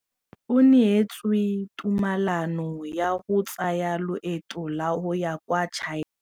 O neetswe tumalanô ya go tsaya loetô la go ya kwa China.